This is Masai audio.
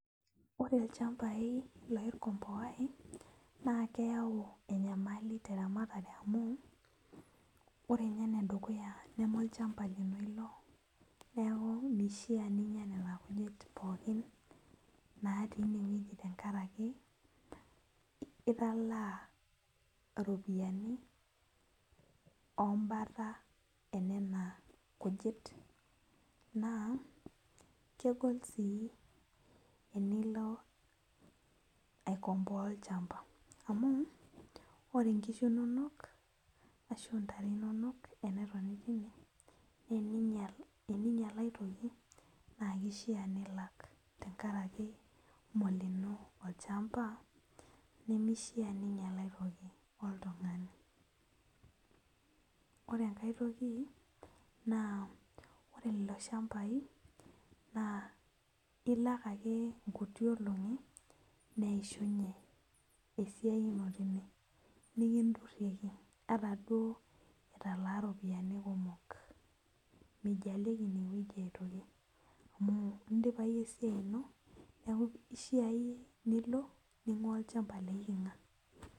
Ore ilchambai naa keyau enyamali teramatare amu ore inye enedukuya neme olchamba lino ilo neku mishia ninyia nena kujit pookin natii inewueji tenkaraki italaa iropiyiani ombata enena kujit naa kegol sii enilo aikomboa olchamba amu ore inkishu inonok ashu intare inonok enetoni tine nee eninyial, Eninyial aetoki naa keishia nilak tenkarake molino olchamba nemishia ninyial aetoki oltung'ani ore enkae toki naa ore lelo shambai naa ilak ake nkuti olong'i neishunye esiai ino tine nikindurrieki ata duo italaa iropiani kumok meijalieki inewueji aitoki amu indipa iyie esiai ino neku ishia iyie nilo ning'ua olchamba leiking'a.